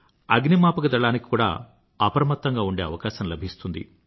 అగ్నిమాపకదళానికి కూడా అప్రమత్తంగా ఉండే అవకాశం లభిస్తుంది